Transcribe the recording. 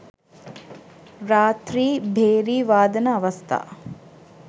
රාත්‍රී භේරි වාදන අවස්ථා